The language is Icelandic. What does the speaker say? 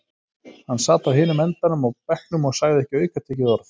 Hann sat á hinum endanum á bekknum og sagði ekki aukatekið orð.